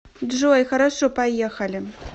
джой хорошо поехали